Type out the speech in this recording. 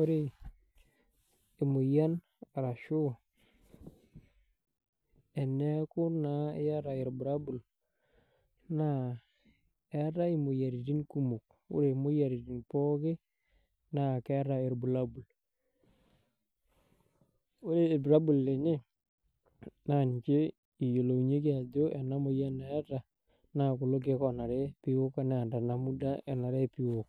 ore emoyian arashu teneaku naa iyata irbulabul naa eetai imoyiaritin kumok ore imoyiaritin pooki naa keeta irbulabul. Ore irbulabul lenye naa ninche eyilounyieki aajo ena moyian eeta naa kulo keek oonare peyie ewok naa tenamuda sii uwok.